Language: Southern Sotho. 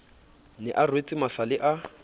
ne a rwetse masale a